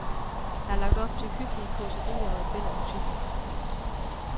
Der er lagt op til hyggelige causerier og et væld af musik.